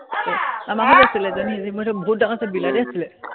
আমাৰ ঘৰত আছিলে এজনী, সেইজনী বহুত ডাঙৰ আছিলে, বিলাতী আছিলে।